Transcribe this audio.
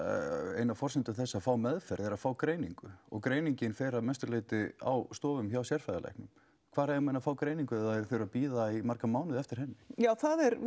ein að forsendum þess að fá meðferð er að fá greiningu og greiningin fer að mestu leiti á stofum hjá sérfræðilæknum hvar eiga menn að fá greiningu ef þeir þurfa að bíða í marga mánuði eftir henni já